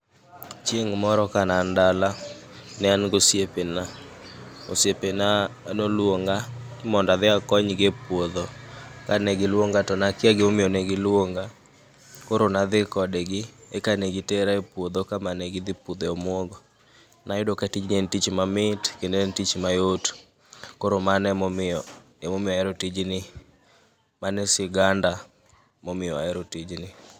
Chieng' moro ka nean dala, ne an gosiepe na, osiepe na noluonga ni mondoadhi akonygi e puodho. Ka ne giluonga to nakia gimomiyo ne giluonga, koro nadhi kodgi eka ne gi tera e puodho kama ne gidhi pudhe omwogo. Nayudo ka tijni en tich mamit, kendo en tich mayot. Koro mano emomiyo, emomiyo ahero tijni. Mano e siganda momiyo ahero tijni.